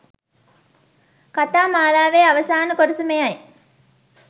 කතා මාලාවේ අවසාන කොටස මෙයයි.